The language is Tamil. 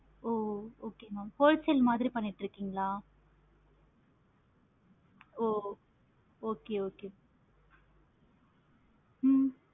ஒ okay mam wholesale மாதிரி பண்ணிட்டு இருக்கீங்களா? oh okay okay